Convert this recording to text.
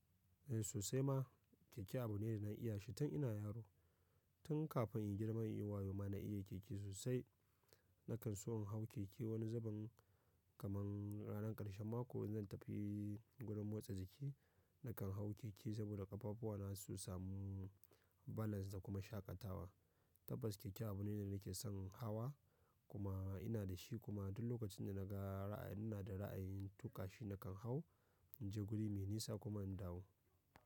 Eh sosai ma keke abu ne da na iya shi tun ina yaro. Tun kafin in girma inyi wayo ma na iya keke sosai. Nakan so in hau keke wani zubin kaman ranan ƙarshen mako in zan tafi gurin motsa jiki nakan hau keke saboda ƙafa fuwana su sama balance ko kuma shakatawa. Tabbas keke abu ne da nake son hawa kuma ina da shi kuma duk lokacin da na ga ina da ra'ayin tuƙa shi nakan hau, in je guri mai nisa kuma in dawo.